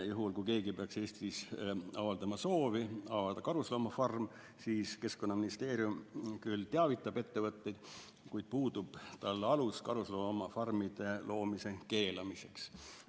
Juhul kui keegi peaks Eestis avaldama soovi avada karusloomafarmi, siis Keskkonnaministeerium küll teavitab ettevõtteid, kuid tal puudub alus karusloomafarmide loomise keelamiseks.